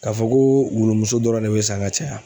K'a fɔ ko wulumuso dɔrɔn de bɛ san ka caya